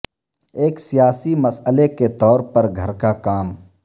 ایک سیاسی مسئلہ کے طور پر گھر کا کام